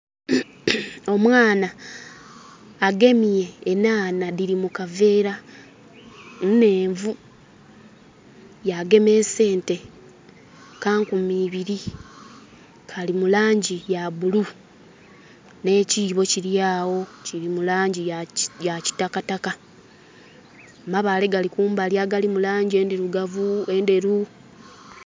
Omwana agemye enhanha dhili mu kaveera. Nhenvu. Yagema esente. Ka nkumi ibiri, kali mu langi ya bulu. Nh'ekiibo kili agho kili mu langi ya kitakataka. Amabaale gali kumbali agali mu langi endhirugavu, endheru.